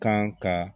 Kan ka